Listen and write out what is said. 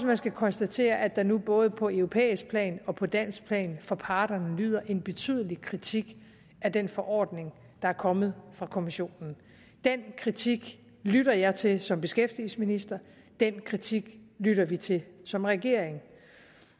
man skal konstatere at der nu både på europæisk plan og på dansk plan fra parterne lyder en betydelig kritik af den forordning der er kommet fra kommissionen den kritik lytter jeg til som beskæftigelsesminister den kritik lytter vi til som regering